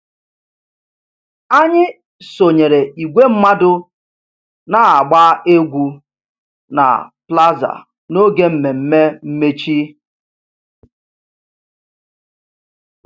Anyị sonyeere igwe mmadụ na-agba egwu na plaza n'oge mmemme mmechi